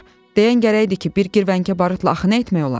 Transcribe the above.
Deyən gərək idi ki, bir girvəngə barıtla axı nə etmək olar?